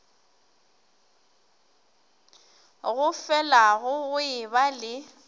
go felago go eba le